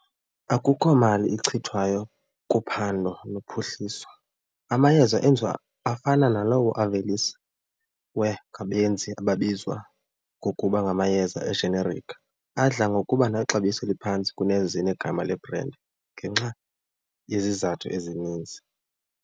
Akukho mali ichithwayo kuphando nophuhliso. Amayeza enziwa afana nalawo aveliswe ngabenzi ababizwa ngokuba ngamayeza ejenerikhi adla ngokuba nexabiso eliphantsi kunezinegama lebhrendi ngenxa yezizathu ezininzi.